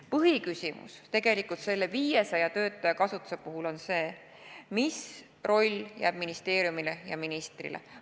Põhiküsimus selle 500 töötaja kasutuse puhul on tegelikult see, mis roll jääb ministeeriumile ja ministrile.